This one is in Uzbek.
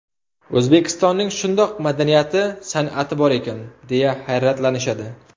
O‘zbekistonning shundoq madaniyati, san’ati bor ekan, deya hayratlanishadi.